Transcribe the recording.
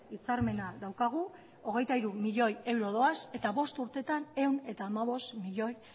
hitzarmena daukagu hogeita hiru milioi euro doaz eta bost urteetan ehun eta hamabost milioi